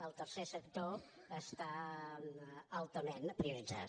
el tercer sector està altament prioritzat